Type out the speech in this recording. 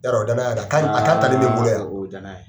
Yɔrɔ o ye danaya ye a kan a kan talen bɛ n bolo yan.